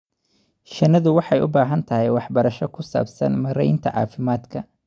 Shinnidu waxay u baahan tahay waxbarasho ku saabsan maaraynta caafimaadka.